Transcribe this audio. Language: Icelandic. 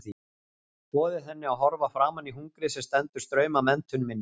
Boðið henni að horfa framan í hungrið sem stendur straum af menntun minni.